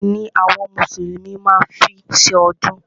Àgbò ni àwọn mùsùlùmí má ń fí ṣọdún.